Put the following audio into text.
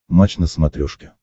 матч на смотрешке